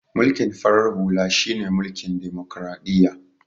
Mulkin farar halu shine mulkin demokradiyya